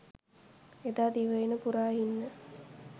එදා දිවයින පුරා ඉන්න